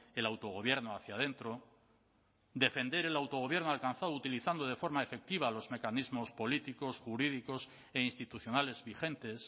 el autogobierno hacia adentro defender el autogobierno alcanzado utilizando de forma efectiva los mecanismos políticos jurídicos e institucionales vigentes